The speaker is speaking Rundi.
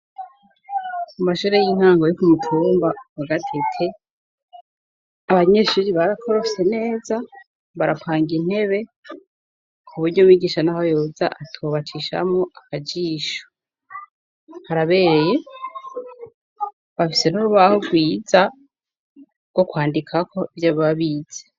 Mu mashure y'intango yo kumutumba wa Gatete. Abanyeshuri barakorose neza barapanga intebe ku buryo umwigisha n'aho yoza atobacishamo akajisho harabereye bafise n'urubaho rwiza bwo kwandika ko byo babize.